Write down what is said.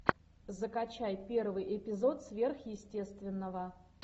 закачай первый эпизод сверхъестественного